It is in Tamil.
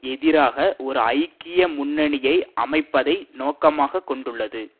எதிராக ஒரு ஐக்கிய முன்னணியை அமைப்பதை நோக்கமாக கொண்டது